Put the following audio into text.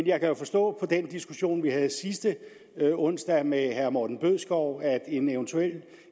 jeg kan forstå på den diskussion vi havde sidste onsdag med herre morten bødskov at en eventuel